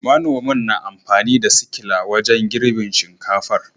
Manomin na amfani da sikila wajen girbin shinkafar